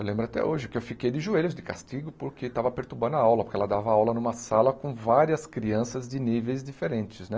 Eu lembro até hoje que eu fiquei de joelhos de castigo porque estava perturbando a aula, porque ela dava aula numa sala com várias crianças de níveis diferentes, né.